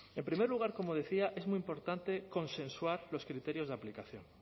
en primer lugar como decía es muy importante consensuar los criterios de aplicación